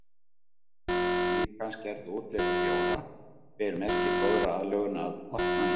Öll líkamsgerð og útlit bjóra ber merki góðrar aðlögun að vatnalífi.